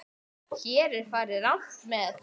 Hér er farið rangt með.